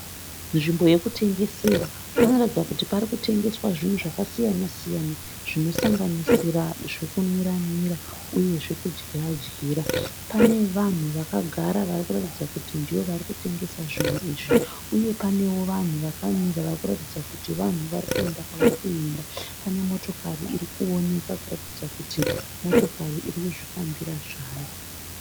Nzvimbo yekutengesera . Panoratidza kuti parikutengeswa zvinhu zvakasiyana- siyana. Zvinosanganisira zvekunwira -nwirwa uye zvekudyira -dyira. Pane vanhu vakagara varikuratidza kuti ndivo varikutengesa zvinhu izvi. Uye pane wo vanhu vakamira varikuratidza kuti vanhu vari kuyenda kwavari kuyenda. Pane motokari irikuoneka kuratidza kuti motokari iri kuzvifambira zvayo.